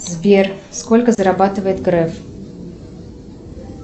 сбер сколько зарабатывает греф